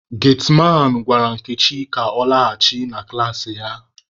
Getiman gwara Nkechi ka ọ laghachi na klaasị ya.